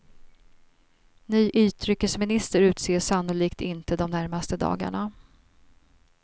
Ny utrikesminister utses sannolikt inte de närmaste dagarna.